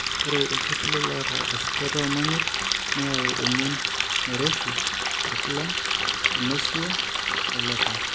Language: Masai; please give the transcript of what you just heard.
Ore iltipilit oata esujata oomonyit neyau emion nairoshi orkulam, enausea, oelopa.